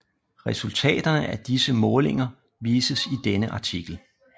Resultaterne af disse målinger vises i denne artikel